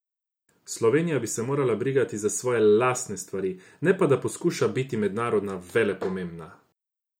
Slovenija bi se morala brigati za svoje lastne stvari, ne pa da poskuša biti mednarodno velepomembna.